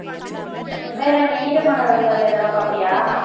வேற என்ன ஈரமான ரோஜாவே இதெல்லாம் பார்ப்பியா?